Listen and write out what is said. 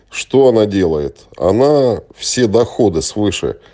что она делает она все доходы свыше